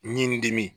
Ɲinini dimi